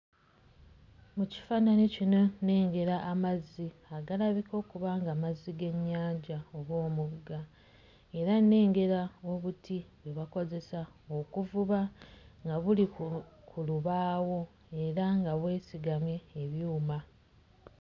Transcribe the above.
Mu kifaananyi kino nnengera amazzi agalabika okuba nga mazzi g'ennyanja oba omugga era nnengera obuti bwe bakozesa okuvuba nga buli ku ku lubaawo era nga bwesigamye ebyuma.